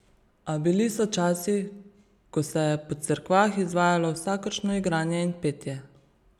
A bili so časi, ko se je po cerkvah izvajalo vsakršno igranje in petje.